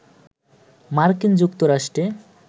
মার্কিন যুক্তরাষ্ট্রে